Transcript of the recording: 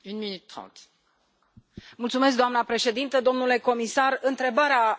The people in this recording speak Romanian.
Doamna președintă, domnule comisar, întrebarea adresată Comisiei este pertinentă.